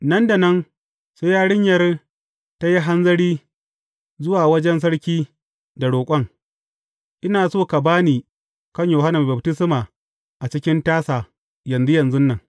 Nan da nan, sai yarinyar ta yi hanzari zuwa wajen sarki da roƙon, Ina so ka ba ni kan Yohanna Mai Baftisma a cikin tasa, yanzu yanzu nan.